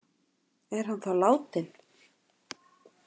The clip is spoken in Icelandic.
Er hann þá látinn?